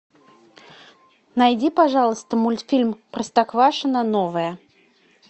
найди пожалуйста мультфильм простоквашино новое